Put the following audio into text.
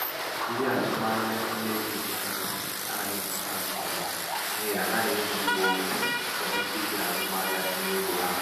ndị azụmahịa ntinye ego ikpeazụ anaghị emecha nke ọma n' ihi h na-eji ìgba ọhụhụ eme mkpebi azụmahịa ntinye ego ha.